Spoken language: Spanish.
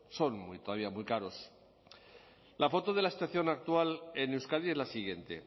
son todavía muy caros la foto de la situación actual en euskadi es la siguiente